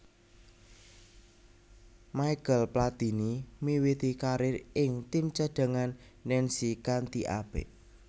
Michel Platini miwiti karir ing tim cadhangan Nancy kanthi apik